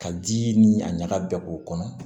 Ka ji ni a ɲaga bɛ k'o kɔnɔ